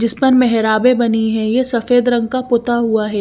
जिसपर मेहराबे बनी है ये सफेद रंग का पुत्ता हुआ है ।